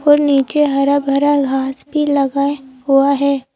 और नीचे हरा भरा घास भी लगा है हुआ है।